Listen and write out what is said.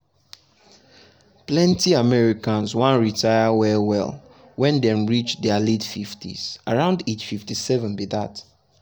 plenty americans wan retire well well when dem reach dia late 50s around age 57 be dat.